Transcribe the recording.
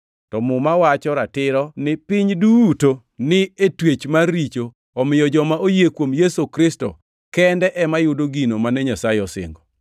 To Muma wacho ratiro ni piny duto ni e twech mar richo omiyo joma oyie kuom Yesu Kristo kende ema yudo gino mane Nyasaye osingo.